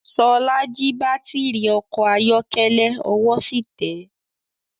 Ṣọlá jí baátìrì ọkọ̀ ayọ́kẹ́lẹ́, ọwọ́ sì tẹ́.